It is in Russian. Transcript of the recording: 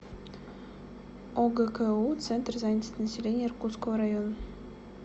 огку центр занятости населения иркутского района